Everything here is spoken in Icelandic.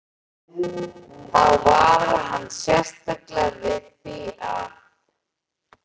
Þá varar hann sérstaklega við því, að